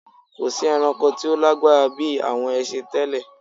Kò sí ẹranko tí ó lágbára bí àwọn ẹsin tẹ́lẹ.